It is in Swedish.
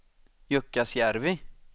Jukkasjärvi